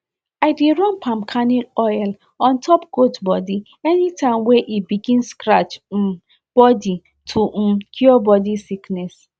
i dey run palm kernel oil on top goat body anytime wey e begin scratch um body to um cure body sickness